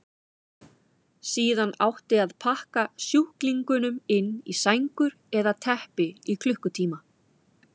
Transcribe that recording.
Síðan átti að pakka sjúklingunum inn í sængur eða teppi í klukkutíma.